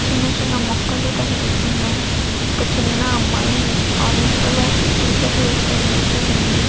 చిన్న చిన్న మొక్కలు కనిపిస్తున్నాయి ఒక చిన్న అమ్మాయి ఆరెంజ్ కలర్ టీ షర్ట్ వేసుకొని నిల్చొని ఉంది.